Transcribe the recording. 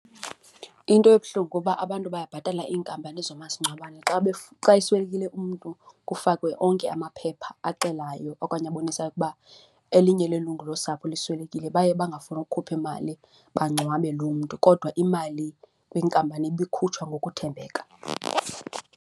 Into ebuhlungu uba abantu bayabhatala iinkampani zoomasingcwabane xa, xa eswelekile umntu kufakwe onke amaphepha axelayo okanye abonisayo ukuba elinye lelungu losapho liswelekile, baye bangafuni ukhupha imali bamngcwabe loo mntu kodwa imali kwinkampani ibikhutshwa ngokuthembeka.